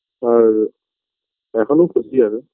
আর এখন ও খুশি আমি